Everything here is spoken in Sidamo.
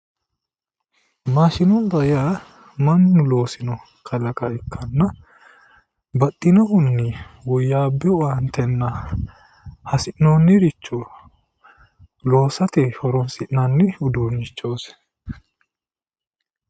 Maashinubba yaa mannu loosino kalaqama ikkitanna baxxinohunni woyyaabbino owaante aanna hasi'noonniricho loosate horonsi'nanni uduunnichooti.